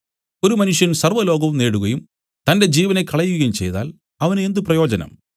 ഒരു മനുഷ്യൻ സർവ്വലോകവും നേടുകയും തന്റെ ജീവനെ കളയുകയും ചെയ്താൽ അവന് എന്ത് പ്രയോജനം